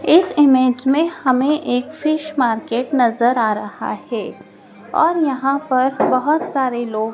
इस इमेज में हमें एक फिश मार्केट नजर आ रहा है और यहां पर बहोत सारे लोग--